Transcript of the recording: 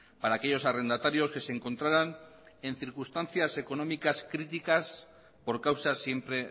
para aquellos arrendatarios que se encontraran en circunstancias económicas criticas por causas siempre